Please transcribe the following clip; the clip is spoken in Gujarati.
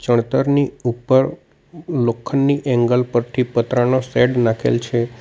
તડતરની ઉપર લોખંડની એંગલ પરથી પતરાનો શેડ નાખેલ છે.